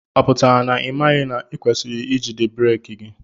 Ọ pụtara na imaghi na ikwesiri ijide breeki gị?